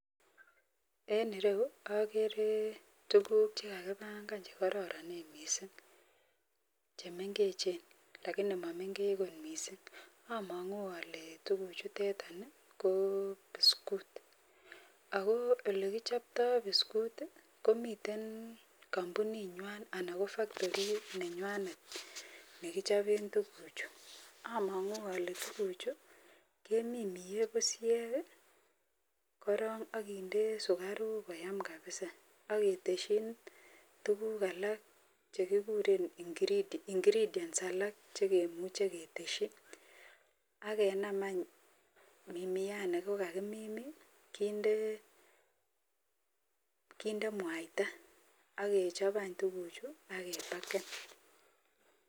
En ireyu agere tuguk chekakibangan kokararanikitun mising chemengechen lakini mamengechenbkot mising amangu ale tugukuchuton ko biskut akoyelekichoptoi biskut komiten kampunit nywan anan ko factorit nenywan nekichopen tuguk chuton amangu ale tuguk Chu keminie bushek korong akinde sikaruk koyam kabisa ageteshinbtuguk alak chekikuren ingredients alak chememuche keteshin akenam mianiton nikakimimin akinde mwaita agechop tuguk Chu akepakenb